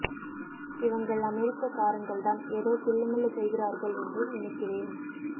இவங்கள் அமெரிக்க காரங்கள்தான் எதோ தில்லு முல்லு செய்கிறார்கள் என்று நினைக்கிறேன்